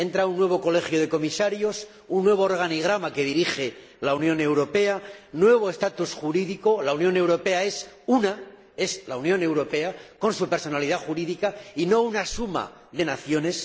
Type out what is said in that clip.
Entra un nuevo Colegio de Comisarios, un nuevo organigrama que dirige la Unión Europea, nuevo estatus jurídico —la Unión Europea es una, es la Unión Europea, con su personalidad jurídica, y no una suma de naciones—...